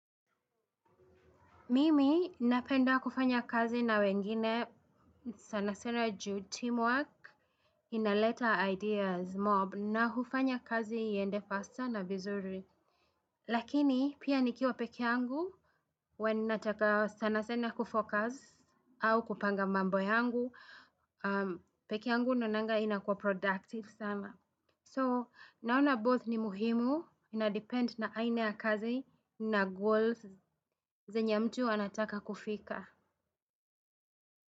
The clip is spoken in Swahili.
Mimi napenda kufanya kazi na wengine sanasana ju team work inaleta ideas mob na hufanya kazi iende faster na vizuri. Lakini pia nikiwa peke yangu, when nataka sanasena kufocus au kupanga mambo yangu, peke yangu naonanga inakua productive sana. So naona both ni muhimu, ina depend na aina ya kazi na goals zenya mtu anataka kufika.